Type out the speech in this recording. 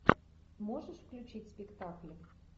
можешь включить спектакль